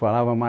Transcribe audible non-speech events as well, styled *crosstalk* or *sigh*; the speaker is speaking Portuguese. *unintelligible* mas